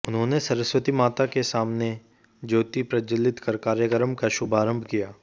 उन्होंने सरस्वती माता के सामने ज्योति प्रज्वलित कर कार्यक्रम का शुभारंभ किया